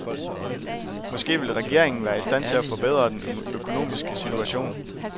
Måske vil regeringen være i stand til at forbedre den økonomiske situation.